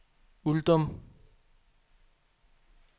Uldum